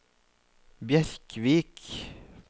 Bjerkvik